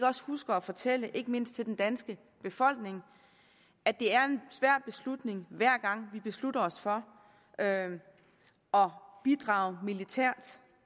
også husker at fortælle ikke mindst den danske befolkning at det er en svær beslutning hver gang vi beslutter os for at bidrage militært